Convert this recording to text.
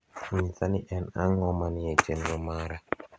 nyisa ni en ango manie e chenro mara